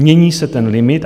Mění se ten limit.